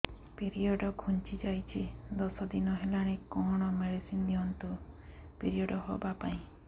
period ଘୁଞ୍ଚି ଯାଇଛି ଦଶ ଦିନ ହେଲାଣି କଅଣ ମେଡିସିନ ଦିଅନ୍ତୁ ପିରିଅଡ଼ ହଵା ପାଈଁ